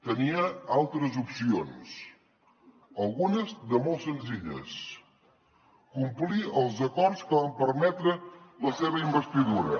tenia altres opcions algunes de molt senzilles complir els acords que van permetre la seva investidura